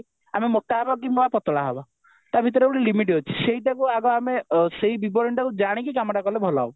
ଆମେ ମୋଟା ହେବା କିମ୍ବା ପତଳା ହେବା ତା ଭିତରେ ଗୋଟେ ଲିମିଟ ଅଛି ସେଇଟାକୁ ଆଗ ଆମେ ସେଇ ବିବରଣୀଟାକୁ ଜାଣିକି କାମଟା କଲେ ଭଲ ହେବ